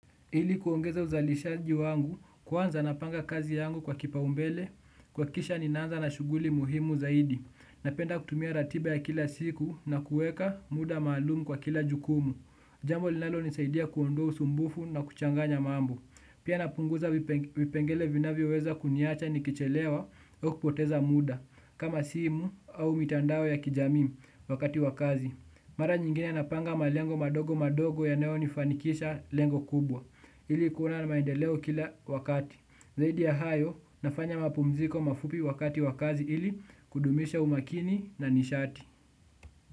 Ili kuongeza uzalishaji wangu, kwanza napanga kazi yangu kwa kipaumbele, kuhakikisha ninaanza na shughuli muhimu zaidi. Napenda kutumia ratiba ya kila siku na kuweka muda maalumu kwa kila jukumu. Jambo linalo nisaidia kuondoa usumbufu na kuchanganya mambo. Pia napunguza vipengele vinavyoweza kuniacha nikichelewa au kupoteza muda, kama simu au mitandao ya kijami wakati wa kazi. Mara nyingine napanga malengo madogo madogo yanayonifanikisha lengo kubwa. Ili kuwa na maendeleo kila wakati zaidi ya hayo nafanya mapumziko mafupi wakati wa kazi ili kudumisha umakini na nishati.